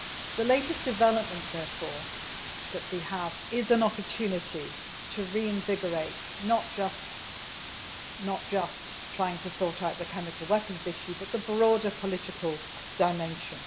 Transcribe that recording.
The latest development, therefore, that we have is an opportunity to reinvigorate, not just trying to sort out the chemical weapons issue but the broader political dimension.